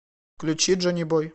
включи джонибой